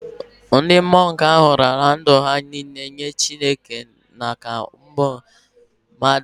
Ndị mọnk ahụ raara ndụ ha niile jeere Chineke na ụmụ mmadụ ozi